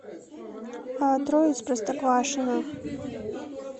трое из простоквашино